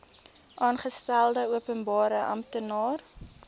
aangestelde openbare amptenaar